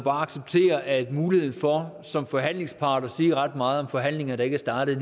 acceptere at muligheden for som forhandlingspart at sige ret meget om forhandlinger der ikke er startet